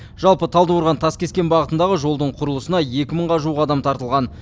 жалпы талдықорған таскескен бағытындағы жолдың құрылысына екі мыңға жуық адам тартылған